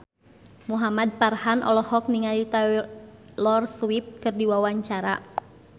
Muhamad Farhan olohok ningali Taylor Swift keur diwawancara